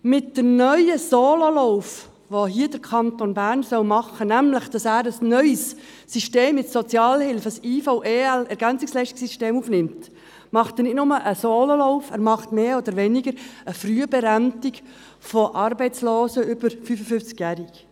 Mit dem neuen Sololauf, den der Kanton Bern hier machen soll, nämlich, indem er ein neues System in der Sozialhilfe aufnimmt, ein IV-EL-Ergänzungsleistungssystem, unternimmt er nicht nur einen Sololauf, sondern er macht mehr oder weniger eine Frühberentung von Arbeitslosen über 55 Jahren.